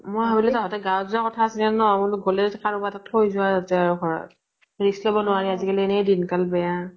মই ভাবিলো তহঁতে গাঁৱ্ত যোৱা কথা আছিলে নে, বুলু গলে কাৰোবাৰ তাত থৈ যোৱা যা হোৱা risk লব নোৱাৰি আজি কালি এনে দিন কাল বেয়া।